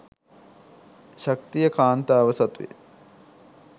ශක්තිය කාන්තාව සතුය